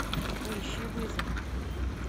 поищи вызов